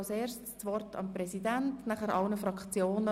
Kommissionspräsident der FiKo.